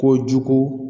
Kojugu